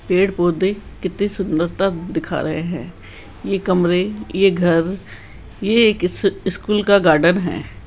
पेड़-पौधे कितनी सुंदरता दिखा रहे हैं ये कमरे ये घर ये एक स्कूल का गार्डन है।